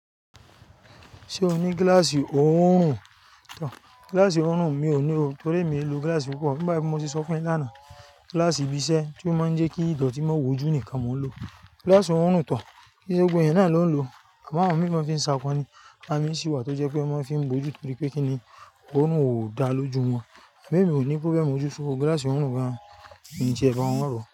Ṣé o ní gíláàsì òórùn tán? Gíláàsì òórùn mi ò ní o torí mi ò lo gíláàsì púpọ̀. Bí bá ti mo ṣe sọ fún ẹ lánàá, gíláàsì ibi iṣẹ́ tí ó máa ń jẹ́ kí ìdọ̀tí má wójú nìkan mo n lò. Gíláàsì òórùn tán, kí i ṣe gbogbo ẹ̀yán náà ló ń lò. Àwọn mìíràn fi ń sa ọkọ̀ ni, àmì sí wà tó jẹ́ pé wọ́n fi ń bo ojú torí pé kí ni òórùn ò dá lójú wọn. Èmi ò ní kó bẹ́ẹ̀ mo jó sóko gíláàsì òórùn gan-an, èmi kì í jẹ ẹba wọn rọ̀